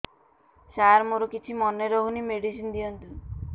ସାର ମୋର କିଛି ମନେ ରହୁନି ମେଡିସିନ ଦିଅନ୍ତୁ